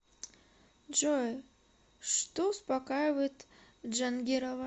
джой что успокаивает джангирова